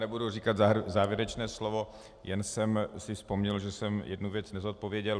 Nebudu říkat závěrečné slovo, jen jsem si vzpomněl, že jsem jednu věc nezodpověděl.